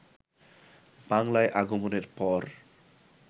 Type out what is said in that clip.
বাংলায় আগমনের পর